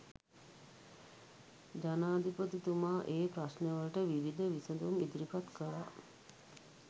ජනාධිපතිතුමා ඒ ප්‍රශ්නවලට විවිධ විසඳුම් ඉදිරිපත් කළා.